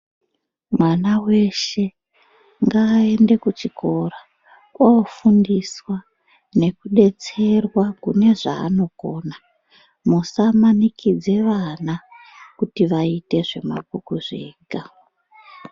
Mwana weshe ngaaende kuchikora oofundiswa nekudetserwa kune zvaanokona .Musamanikidze vana kuti vaite zvemakwikwi zvega .